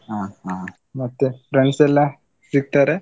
ಹ ಹ, ಮತ್ತೆ friends ಎಲ್ಲಾ ಸಿಗ್ತಾರಾ?